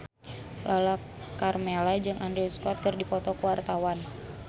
Lala Karmela jeung Andrew Scott keur dipoto ku wartawan